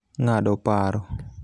ngado paro